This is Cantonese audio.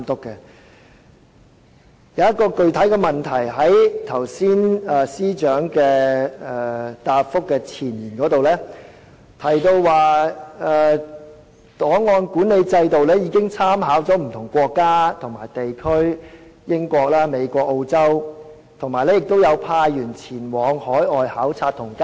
我想提出一個具體的問題，司長剛才在主體答覆的前言中提到，檔案管理制度已參考不同國家和地區的做法，包括英國、美國及澳洲等，亦派員前往海外考察及交流。